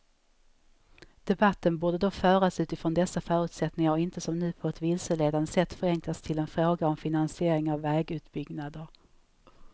Debatten borde då föras utfrån dessa förutsättningar och inte som nu på ett vilseledande sätt förenklas till en fråga om finansiering av vägutbyggnader.